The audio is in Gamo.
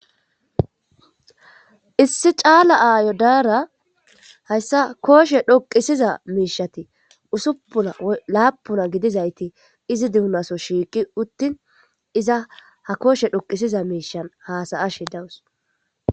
issi caala aayo daara hayssa kooshe dhoqisiza miishati usupuna laapuna gidizayti izi duunaso shiiqi uttin iza ha kooshe dhoqisiza miishan haasayashe dawus.